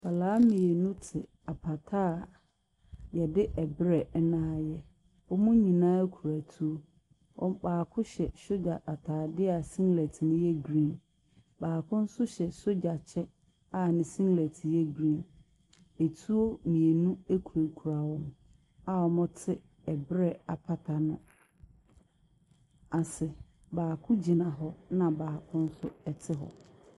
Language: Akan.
Nkwadaa mmienu te apata a yɛde brɛ na ayɛ. Wɔn nyina kura etuo. Baako hyɛ sogya ataadeɛ a singlet no yɛ green. Baako nso hyɛ sogya kyɛ a ne singlet no yɛ green. Etuo mmienu kurakura wɔn a wɔte ɛbrɛ apata no ase. Baako gyina hɔ na baako no nso te hɔ.